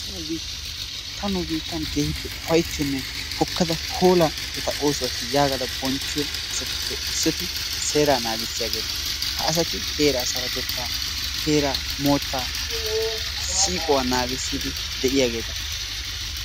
Ta nu biitteen keehippe ufayttiyoonne hookkada hoola eta oosuwaasi yaagada bonchchiyoo asati seeraa naagissiyaageta. Ha asati heeraa sarotettaa heeraa moottaa siiqquwaa naagiisidi de'iyaageta.